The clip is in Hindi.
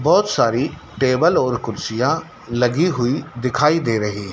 बहुत सारी टेबल और कुर्सियां लगी हुई दिखाई दे रही--